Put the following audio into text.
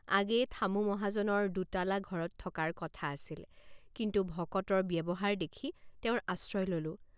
আগেয়ে থামু মহাজনৰ দোতালা ঘৰত থকাৰ কথা আছিল কিন্তু ভকতৰ ব্যৱহাৰ দেখি তেওঁৰ আশ্ৰয় ললোঁ ।